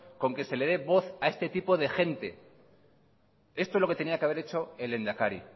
con que se le dé voz a este tipo de gente esto es lo que tenía que haber hecho el lehendakari